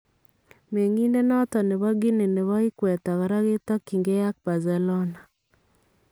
Meng'iindet noton nebo Guinea nebo ikweta koraa ketakyingee ak Barcelona .